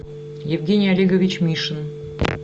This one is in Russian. евгений олегович мишин